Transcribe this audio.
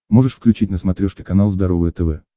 можешь включить на смотрешке канал здоровое тв